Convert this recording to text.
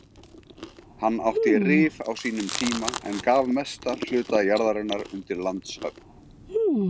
Hann átti Rif á sínum tíma en gaf mestan hluta jarðarinnar undir landshöfn.